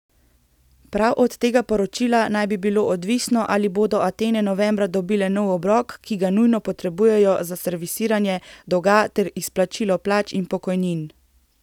Prav od tega poročila naj bi bilo odvisno, ali bodo Atene novembra dobile nov obrok, ki ga nujno potrebujejo za servisiranje dolga ter izplačilo plač in pokojnin.